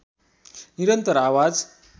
निरन्तर आवाज